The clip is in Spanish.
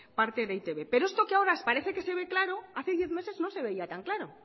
parte de e i te be pero esto que ahora parece que se ve claro hace diez meses no se veía tan claro